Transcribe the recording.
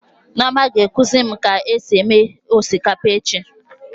Nneoma ga-ekuzi mụ ka esi eme osikapa echi